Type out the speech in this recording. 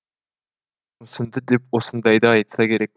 мүсінді деп осындайды айтса керек